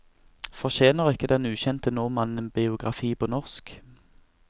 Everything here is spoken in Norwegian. Fortjener ikke den ukjente nordmannen en biografi på norsk?